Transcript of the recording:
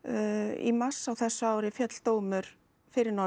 í mars á þessu ári féll dómur fyrir norðan